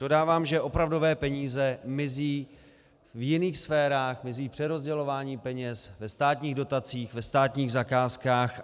Dodávám, že opravdové peníze mizí v jiných sférách, mizí v přerozdělování peněz, ve státních dotacích, ve státních zakázkách.